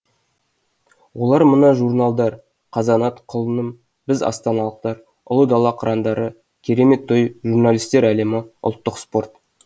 олар мына журналдар қазанат құлыным біз астаналықтар ұлы дала қырандары керемет той журналистер әлемі ұлттық спорт